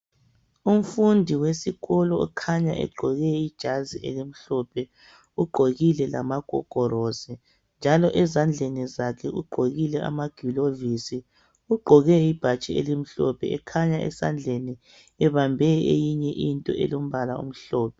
Umfundi wesikolo okhanya egqoke ijazi elimhlophe ugqokile lamagogorosi njalo ezandleni zakhe ugqokile amagilovisi. Ugqoke ibhatshi elimhlophe ekhanya esandleni ebambe eyinye into elombala omhlophe.